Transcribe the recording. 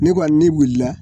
Ne kɔni ni bolila